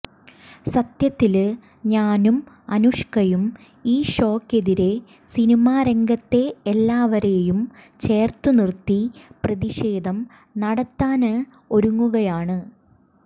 സത്യത്തില് ഞാനും അനുഷ്കയും ഈ ഷോയ്ക്കെതിരേ സിനിമാരംഗത്തെ എല്ലാവരെയും ചേര്ത്തു നിര്ത്തി പ്രതിഷേധം നടത്താന് ഒരുങ്ങുകയാണ്